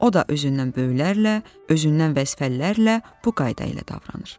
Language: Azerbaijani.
o da özündən böyüklərlə, özündən vəzifəlilərlə bu qayda ilə davranır.